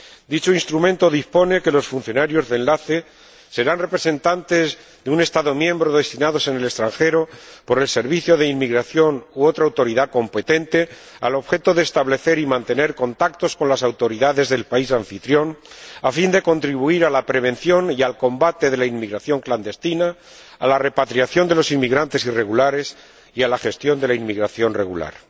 Dicho instrumento dispone que los funcionarios de enlace serán representantes de un Estado miembro destinados en el extranjero por el servicio de inmigración u otra autoridad competente al objeto de establecer y mantener contactos con las autoridades del país anfitrión, a fin de contribuir a la prevención y al combate de la inmigración clandestina, a la repatriación de los inmigrantes irregulares y a la gestión de la inmigración regular.